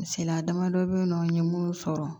Misaliya damadɔ bɛ yen nɔ n ye minnu sɔrɔ